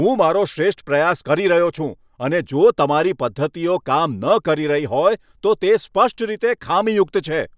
હું મારો શ્રેષ્ઠ પ્રયાસ કરી રહ્યો છું અને જો તમારી પદ્ધતિઓ કામ ન કરી રહી હોય તો તે સ્પષ્ટ રીતે ખામીયુક્ત છે.